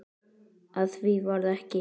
Af því varð ekki.